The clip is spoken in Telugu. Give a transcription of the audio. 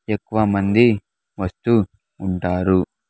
ఎక్కువమంది వస్తూ ఉంటారు.